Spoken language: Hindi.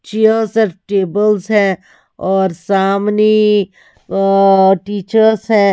चेयर्स एंड टेबल्स हैं और सामनी अ टीचर्स है।